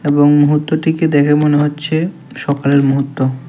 এবং মুহূর্তটিকে দেখে মনে হচ্ছে সকালের মুহূর্ত।